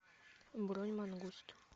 бронь мангуст